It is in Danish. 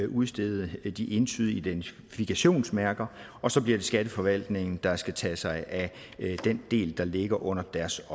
udstede de entydige identifikationsmærker og så bliver det skatteforvaltningen der skal tage sig af den del der ligger under deres